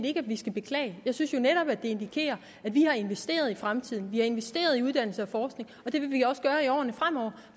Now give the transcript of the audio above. ikke at vi skal beklage jeg synes jo netop at det indikerer at vi har investeret i fremtiden vi har investeret i uddannelse og forskning og det vil vi også gøre i årene fremover